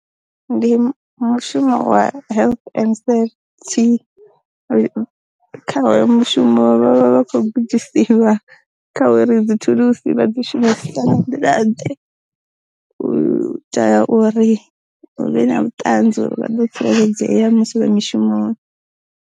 Ndi mushumo wa health and safety, kha hoyo mu shumo vha vha vha kho gudisiwa kha uri dzi thulusi vha dzi shumisisa nga nḓila ḓe, u ita uri hu vhe na vhuṱanzi uri vha ḓo tsireledzea musi vhe mushumoni.